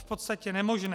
V podstatě nemožné.